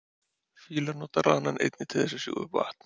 fílar nota ranann einnig til þess að sjúga upp vatn